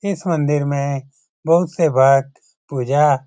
इस मंदिर में बहुत से भक्त पूजा --